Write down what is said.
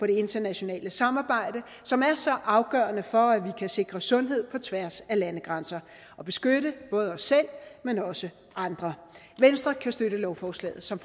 det internationale samarbejde som er så afgørende for at vi kan sikre sundhed på tværs af landegrænser og beskytte både os selv men også andre venstre kan støtte lovforslaget som